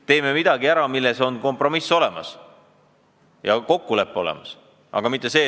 Teeme ära midagi, mille puhul on kompromiss ja kokkulepe olemas!